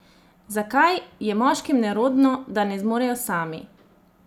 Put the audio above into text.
Zakaj, je moškim nerodno, da ne zmorejo sami?